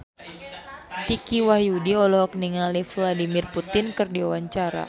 Dicky Wahyudi olohok ningali Vladimir Putin keur diwawancara